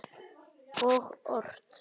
Og ort.